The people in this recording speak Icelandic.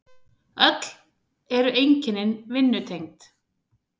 Öll eru einkennin vinnutengd.